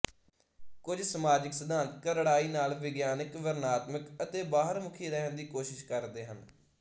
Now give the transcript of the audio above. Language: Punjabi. ਕੁੱਝ ਸਮਾਜਕ ਸਿਧਾਂਤ ਕਰੜਾਈ ਨਾਲ ਵਿਗਿਆਨਕ ਵਰਣਨਾਤਮਿਕ ਅਤੇ ਬਾਹਰਮੁਖੀ ਰਹਿਣ ਦੀ ਕੋਸ਼ਿਸ਼ ਕਰਦੇ ਹਨ